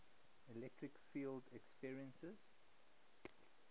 electric field experiences